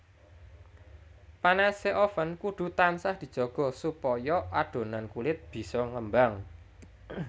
Panase oven kudu tansah dijaga supaya adonan kulit bisa ngembang